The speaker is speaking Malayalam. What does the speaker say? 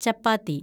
ചപ്പാത്തി